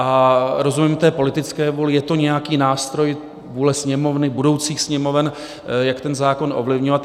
A rozumím té politické vůli, je to nějaký nástroj, vůle Sněmovny, budoucích Sněmoven, jak ten zákon ovlivňovat.